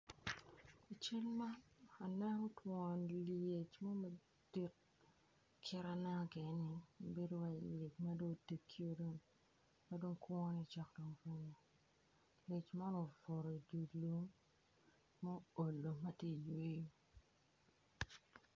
I cal man atye ka neno twon lyec mo madit kit ma aneno kwede bedo calo lyec man otegio ma dong kwone cok ka gik lyec man obuto i dye lum ma olo dok tye ka yweyo.